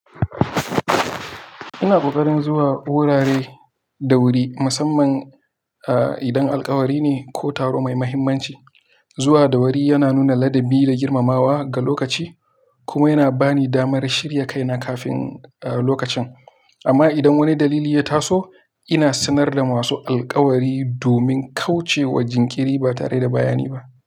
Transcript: Ina ƙoƙarin zuwa gurare da wuri, musamman idan alkawari ne ko taro mai mahimmanci. Zuwa da wuri yana nuna ladabi da girmamawa ga lokaci, kuma yana bani damar shirya kaina kafin lokacin. Amma idan wani dalili ya taso, ina sanar da masu alkawari domin kauce wa jinkiri ba tare da bayani ba.